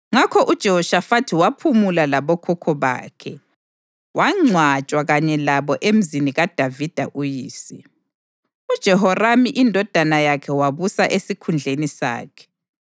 Ngakho uJehoshafathi waphumula labokhokho bakhe, wangcwatshwa kanye labo emzini kaDavida uyise. UJehoramu indodana yakhe wabusa esikhundleni sakhe.